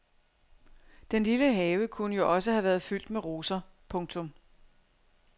Den lille have kunne jo også have været fyldt med roser. punktum